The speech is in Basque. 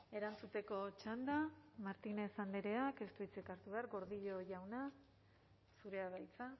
erantzuteko txanda martínez andreak ez du hitzik hartu behar gordillo jauna zurea da hitza